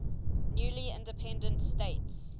newly independent states